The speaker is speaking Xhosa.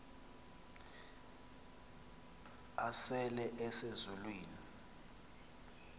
asele ese zulwini